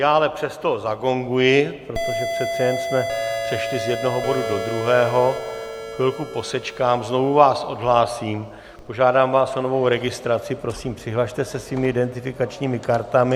Já ale přesto zagonguji, protože přece jen jsme přešli z jednoho bodu do druhého, chvilku posečkám, znovu vás odhlásím, požádám vás o novou registraci, prosím, přihlaste se svými identifikačními kartami.